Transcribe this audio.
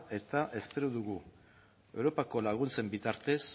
eta espero dugu europako laguntzen bitartez